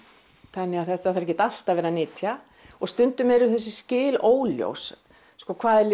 þannig að það þarf ekkert allt að vera nytja og stundum eru þessi skil óljós sko hvað er